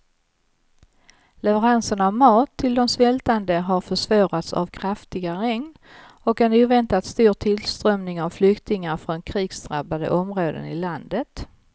Leveranserna av mat till de svältande har försvårats av kraftiga regn och en oväntat stor tillströmning av flyktingar från krigsdrabbade områden i landet.